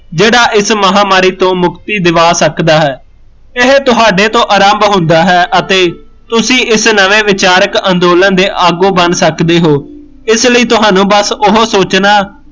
ਜਿਹੜਾ ਇਸ ਮਹਾਮਾਰੀ ਤੋ ਮੁਕਤੀ ਦਵਾ ਸਕਦਾ ਹੈ ਇਹ ਤੁਹਾਡੇ ਤੋ ਆਰੰਭ ਹੁੰਦਾ ਹੈ ਅਤੇ ਤੁਸੀਂ ਇਸ ਨਵੇਂ ਵਿਚਾਰਕ ਅੰਦੋਲਨ ਦੇ ਅਗੋਂ ਬਣ ਸਕਦੇ ਹੋ ਇਸ ਲਈ ਤਹਾਨੂੰ ਬਸ ਉਹ ਸੋਚਣਾ